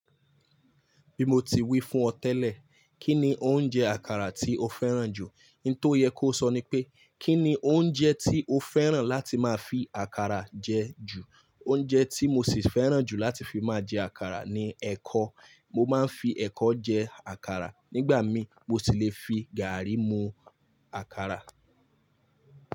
Bí mo ti wí fún ọ tẹ́lẹ̀, Kí ni oúnjẹ àkàrà tí o fẹ́ràn jù? N tó yẹ kó sọ ni pé, Kí ni oúnjẹ tí o fẹ́ràn láti máa fi àkàrà jẹ ju? Oúnjẹ tí mo sì fẹ́ràn jù láti fi máa jẹ àkàrà ni ẹ̀kọ. Mo máa ń fi ẹ̀kọ jẹ àkàrà nígbà mí mo si lè fi gàárì mu àkàrà.